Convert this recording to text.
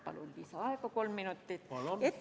Palun lisaaega kolm minutit!